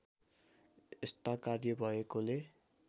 यस्ता कार्य भएकोले